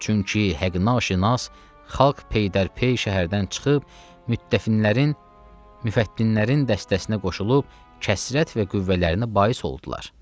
Çünki həqqinaşinas xalq peydərpey şəhərdən çıxıb müttəfinlərin, müfəttinlərin dəstəsinə qoşulub kəsrət və qüvvələrini bais oldular.